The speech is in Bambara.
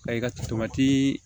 Ayi ka